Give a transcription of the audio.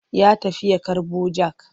Ya tafi ya karɓo jak.